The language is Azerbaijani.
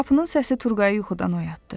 Qapının səsi Turğayı yuxudan oyatdı.